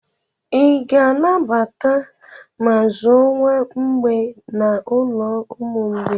I ga-anata ma zụọ nwa mgbei n'ulo ụmụ mgbei?